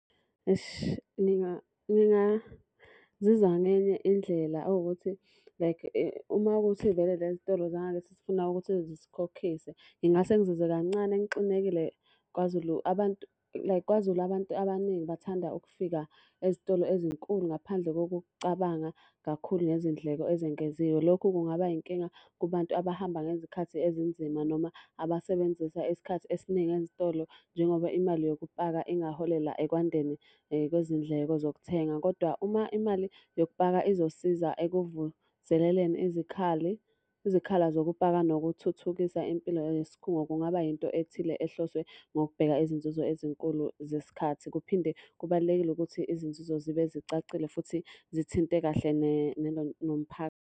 Esh ngingazizwa ngenye indlela ewukuthi like uma kuwukuthi vele le zitoro zangakithi zifuna ukuthi zisikhokhise, ngingase ngizizwe kancane ngixinekile. KwaZulu abantu, like KwaZulu abantu abaningi bathanda ukufika ezitolo ezinkulu ngaphandle kokucabanga kakhulu ngezindleko ezengeziwe. Lokhu kungaba yinkinga kubantu abahamba ngezikhathi ezinzima noma abasebenzisa isikhathi esiningi ezitolo njengoba imali yokupaka ingaholela ekwandeni kwezindleko zokuthenga. Kodwa uma imali yokupaka izosiza ekuvuseleleni izikhali, izikhala zokupaka nokuthuthukisa impilo yesikhungo kungaba yinto ethile ehloswe ngokubheka izinzuzo ezinkulu zesikhathi. Kuphinde kubalulekile ukuthi izinzuzo zibe zicacile futhi zithinte kahle .